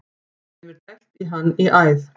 Þeim er dælt í hann í æð.